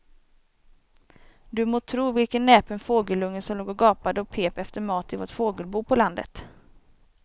Du må tro vilken näpen fågelunge som låg och gapade och pep efter mat i vårt fågelbo på landet.